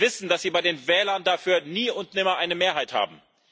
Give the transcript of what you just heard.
Sie wissen, dass Sie bei den Wählern dafür nie und nimmer eine Mehrheit haben.